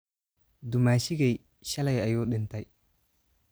Dumaashigeey shalay ayuu dhintay